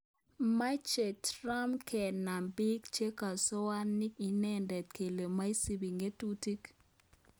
Meche Trump kenam biik che kosoani inende kale maisubi ng'atutik